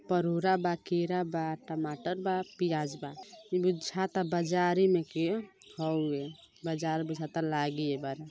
परोरा बा केरा बा टमाटर बा पियाज बा। बुझाता बाजारे में के हउवे। बाजार बुझाता लागी एबारा।